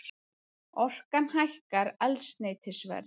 Orkan hækkar eldsneytisverð